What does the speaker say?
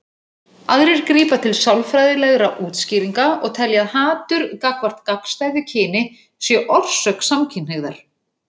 Aðrir grípa til sálfræðilegra útskýringa og telja að hatur gagnvart gagnstæðu kyni sé orsök samkynhneigðar.